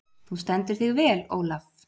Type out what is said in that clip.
Þú stendur þig vel, Olav!